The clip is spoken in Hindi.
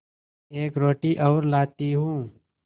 एक रोटी और लाती हूँ